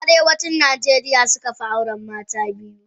Arewacin najeriya suka fi auren mata biyu.